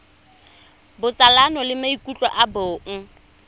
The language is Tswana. botsalano le maikutlo a bong